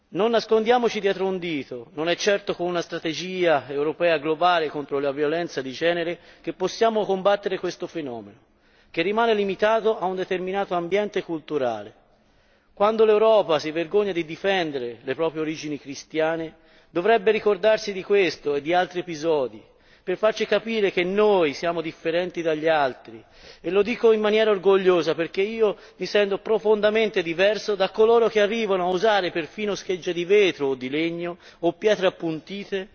Non nascondiamoci dietro a un dito, non è certo con una strategia europea globale contro la violenza di genere che possiamo combattere questo fenomeno, che rimane limitato a un determinato ambiente culturale. Quando l'Europa si vergogna di difendere le proprie origini cristiane, dovrebbe ricordarsi di questo e di altri episodi, per farci capire che noi siamo differenti dagli altri, e lo dico in maniera orgogliosa, perché io mi sento profondamente diverso da coloro che arrivano a usare perfino schegge di vetro o di legno, o pietre appuntite,